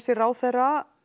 ráðherra